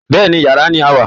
Bẹ́ẹ̀ ni, yàrá ni a wà